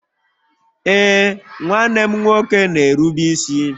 Ee, nwanne m nwoke na-erube isi